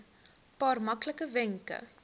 paar maklike wenke